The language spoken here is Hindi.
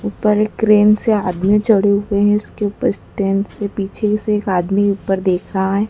ऊपर एक क्रेन से आदमी चढ़े हुए हैं इसके ऊपर स्टैंड से पीछे से एक आदमी ऊपर देख रहा है।